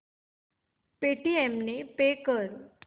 Paytm ने pay कर